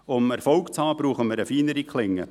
Um Erfolg zu haben, brauchen wir eine feinere Klinge.